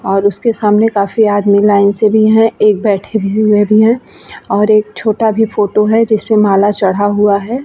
और उसके सामने काफी आदमी लाइन से भी है एक बैठे हुए भी है और एक छोटा भी फोटो है जिस पे माला चढ़ा हुआ है ।